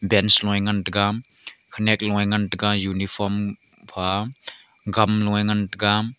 bench lue ngan taiga khoniak lue ngan taiga uniform pha gam lue ngan taiga.